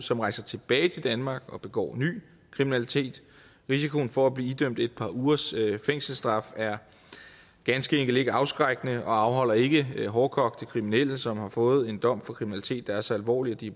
som rejser tilbage til danmark og begår ny kriminalitet risikoen for at blive idømt et par ugers fængselsstraf er ganske enkelt ikke afskrækkende og afholder ikke hårdkogte kriminelle som har fået en dom for kriminalitet der er så alvorlig at de